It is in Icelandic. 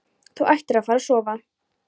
Þú ættir að fara að sofa.